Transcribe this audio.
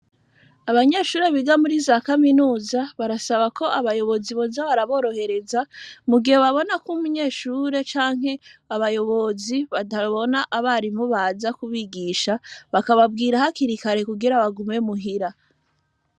abanyeshuri biga muri za kaminuza barasaba ko boza baraborohereza mu gihe babona ko umunyeshuri canke abayobozi batabona abarimu baza ku bigisha bakabwira hakiri kare kugira bagume muhira.